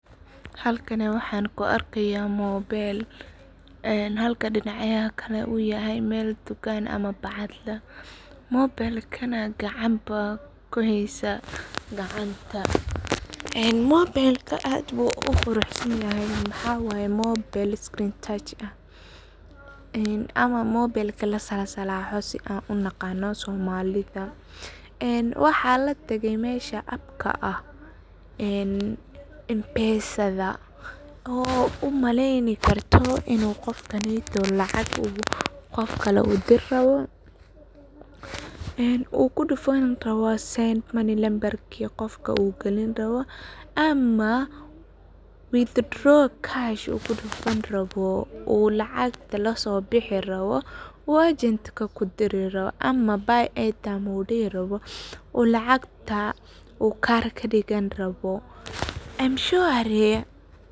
Halkani waxan kuarkaya mobile ,halka dinaca kale u yahay dukan ama bacadla ,mobelkana gacan aa kuheysa, mobelkana aad bu u qurux sanyahay waxa waye mobile screen touch ah ama mobelka lasalsalaho sidha an u naqan somalida waxa latagay mesha appka ah Mpesada oo u maleni karto inu qofkaneto qof kale lacag uu udiri rawo uu kudufani rabo send money u galini rawo nambarki uu qofka u diri rabo. Ama [cs[withdraw cash u kudufani rabo u lacagta laso bihi rabo u agentka kudiri rabo ama buy airtime u dihi rabo uu lacagta uu kaar kadigani rabo Mshwarii.